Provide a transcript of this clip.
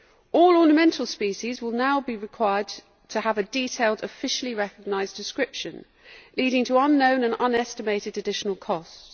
All ornamental species will now be required to have a detailed, officially recognised description, leading to unknown and unestimated additional costs.